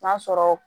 N'a sɔrɔ